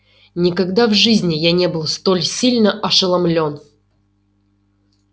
никогда в жизни я не был столь сильно ошеломлён